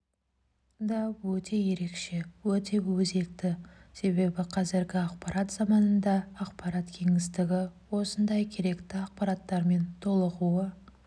да өте ерекше өте өзекті себебі қазіргі ақпарат заманында ақпарат кеңістігі осындай керекті ақпараттармен толығуы